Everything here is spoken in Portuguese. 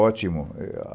Ótimo. É a